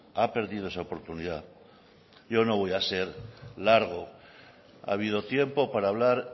ha perdido esa oportunidad yo no voy a ser largo ha habido tiempo para hablar